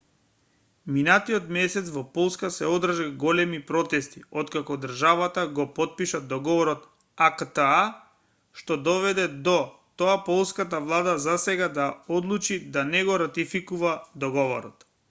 минатиот месец во полска се одржаа големи протести откако државата го потпиша договорот акта што доведе до тоа полската влада засега да одлучи да не го ратификува договорот